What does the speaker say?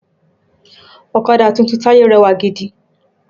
Ọ̀kadà tuntun Taye rẹwà gidi